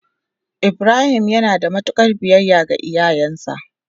ibrahim yanada mutukar biyayya ga iyayansa sosai.